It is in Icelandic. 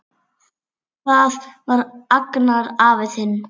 Það var Agnar afi þinn.